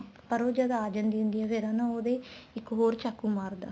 ਪਰ ਉਹ ਜਦ ਆ ਜਾਂਦੀ ਹੁੰਦੀ ਫ਼ੇਰ ਹਨਾ ਉਹਦੇ ਇੱਕ ਚਾਕੂ ਮਾਰਦਾ